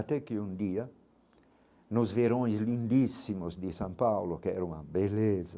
Até que um dia, nos verões lindíssimos de São Paulo, que era uma beleza,